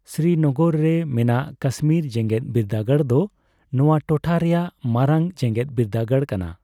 ᱥᱨᱤᱱᱚᱜᱚᱨ ᱨᱮ ᱢᱮᱱᱟᱜ ᱠᱟᱥᱢᱤᱨ ᱡᱮᱜᱮᱫ ᱵᱤᱨᱫᱟᱹᱜᱟᱲ ᱫᱚ ᱱᱚᱣᱟ ᱴᱚᱴᱷᱟ ᱨᱮᱭᱟᱜ ᱢᱟᱨᱟᱝ ᱡᱮᱜᱮᱫ ᱵᱤᱨᱫᱟᱹᱜᱟᱲ ᱠᱟᱱᱟ ᱾